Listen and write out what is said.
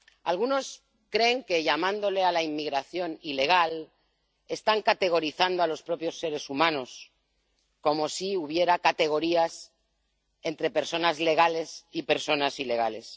Algunos creen que llamándole a la inmigración ilegal, están categorizando a los propios seres humanos, como si hubiera categorías de personas legales y personas ilegales.